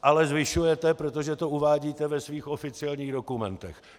- Ale zvyšujete, protože to uvádíte ve svých oficiálních dokumentech.